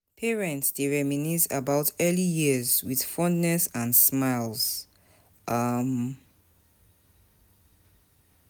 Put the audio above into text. Parents dey reminisce about early years with fondness and smiles. um